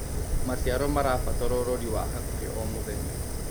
Macĩaro marabatara ũrorĩ wa hakũhĩ o mũthenya